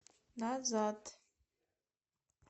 назад